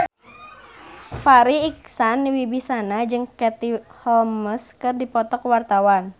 Farri Icksan Wibisana jeung Katie Holmes keur dipoto ku wartawan